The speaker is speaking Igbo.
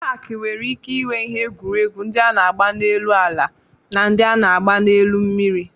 Pak nwere ike inwe ihe egwuregwu ndị a na-agba n'elu ala na ndị a na-agba n'elu mmiri.